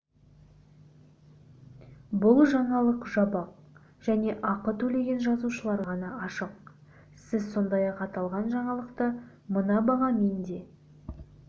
бұл жаңалық жабық және ақы төлеген жазылушыларға ғана ашық сіз сондай-ақ аталған жаңалықты мына бағамен де